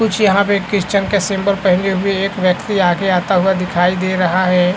कुछ यहाँ पे क्रिस्चियन के सिम्बोल पहने हुए एक वक्ति आगे आता हुआ दिखाई दे रहा है ।